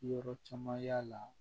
Yɔrɔ caman y'a la